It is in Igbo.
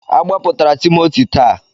A gbapụtara Timoti taa.